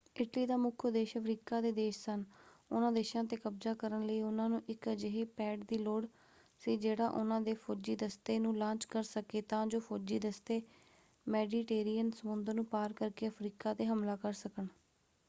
Italy ਦਾ ਮੁੱਖ ਉਦੇਸ਼ ਅਫ਼ਰੀਕਾ ਦੇ ਦੇਸ਼ ਸਨ। ਉਹਨਾਂ ਦੇਸ਼ਾਂ ‘ਤੇ ਕਬਜ਼ਾ ਕਰਨ ਲਈ ਉਹਨਾਂ ਨੂੰ ਇੱਕ ਅਜਿਹੇ ਪੈਡ ਦੀ ਲੋੜ ਸੀ ਜਿਹੜਾ ਉਹਨਾਂ ਦੇ ਫੌਜੀ ਦਸਤੇ ਨੂੰ ਲਾਂਚ ਕਰ ਸਕੇ ਤਾਂ ਜੋ ਫੌਜੀ ਦਸਤੇ ਮੈਡੀਟੇਰੀਅਨ ਸਮੁੰਦਰ ਨੂੰ ਪਾਰ ਕਰਕੇ ਅਫ਼ਰੀਕਾ ‘ਤੇ ਹਮਲਾ ਕਰ ਸਕਣ।